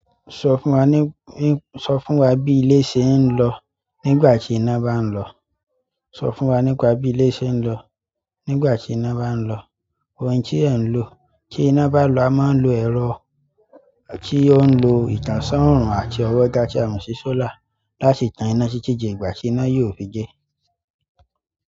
Sọ fún wa ní, ní, sọ fún wa bí ilé ṣe ń lọ nígbà tí ina bá ń lọ. Sọ fún wa nípa bí ilé ṣe ń lọ nígbà tí iná bá ń lọ. Ohun tí ẹ̀ ń lo kí iná bá lọ, a máa ń lo ẹ̀rọ tí ó ń lo ìtànṣán oòrùn àti ọwọ́ ga tí a mo si sólàr ta si tan iná titi di ìgbà tí iná yóò fi de.